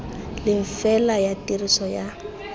leng fela ya tiriso ya